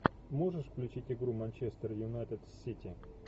можешь включить игру манчестер юнайтед с сити